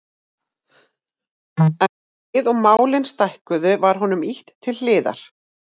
En um leið og málin stækkuðu var honum ýtt til hliðar.